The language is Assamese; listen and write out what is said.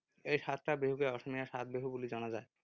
এই সাতটা বিহুকে অসমীয়াৰ সাত বিহু বুলি জনা যায়।